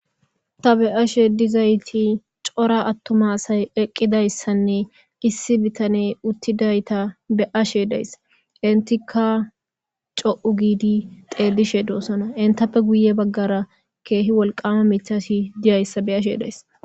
Ta be7ashe dizayti cora attumasay eqqidayssanne issi bitane uttidayta be ashe days intika co7u giidi xeelishe doossona intappe guye baggara keehi wolqama mithasi diyayssa be ashe days.